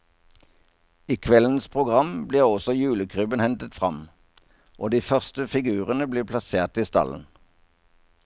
I kveldens program blir også julekrybben hentet fram, og de første figurene blir plassert i stallen.